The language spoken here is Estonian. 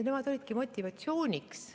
Nemad olidki motivatsiooniks.